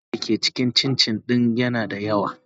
sugari da ke cikin cincin din yana da yawa.